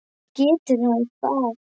Getur hann það?